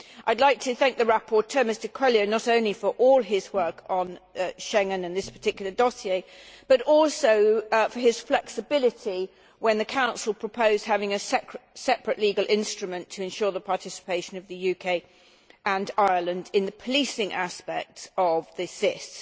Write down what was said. I would like to thank the rapporteur, Mr Coelho, not only for all his work on Schengen on this particular dossier but also for his flexibility when the Council proposed having a separate legal instrument to ensure the participation of the UK and Ireland in the policing aspects of the SIS.